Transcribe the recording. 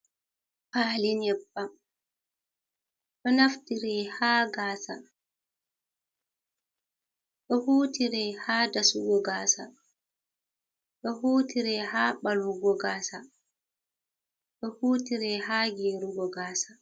Pali nyebbam. ɗo naftire ha gasa, ɗo hutire ha dasugo gasa, ɗo hutire ha ɓalwugo gasa, ɗo hutire ha gerugo gasa.